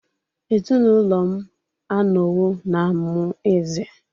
Ezinụlọ m anọwo na-amụ eze